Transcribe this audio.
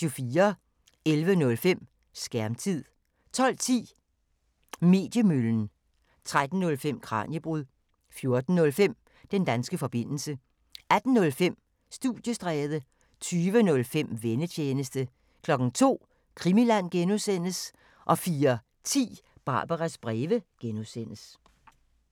11:05: Skærmtid 12:10: Mediemøllen 13:05: Kraniebrud 14:05: Den danske forbindelse 18:05: Studiestræde 20:05: Vennetjenesten 02:00: Krimiland (G) 04:10: Barbaras breve (G)